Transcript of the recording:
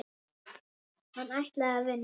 Hann ætlaði að vinna.